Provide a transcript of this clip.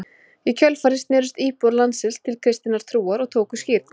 í kjölfarið snerust íbúar landsins til kristinnar trúar og tóku skírn